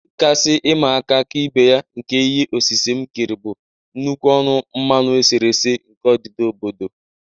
Ihe kasị ịma aka Ka ibe ya nke ihe osise m kere bụ nnukwu ọnụ mmanụ eserese nke odida obodo.